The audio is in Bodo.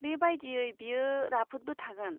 बे बायदियै बियो राफोदबो थागोन।